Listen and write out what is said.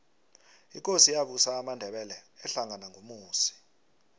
ikosi eyabusa amandebele ahlangena ngumusi